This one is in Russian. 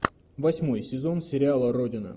восьмой сезон сериала родина